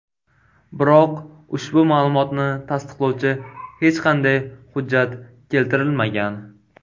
Biroq ushbu ma’lumotni tasdiqlovchi hech qanday hujjat keltirilmagan.